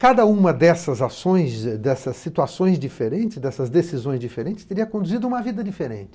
Cada uma dessas ações, dessas situações diferentes, dessas decisões diferentes, teria conduzido uma vida diferente.